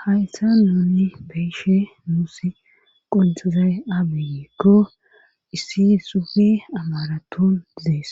Hayssan nuuni be'shin nuusi qonccizay aazee giiko issi xuufe amarathon des.